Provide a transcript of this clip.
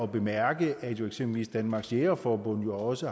bemærke at eksempelvis danmarks jægerforbund jo også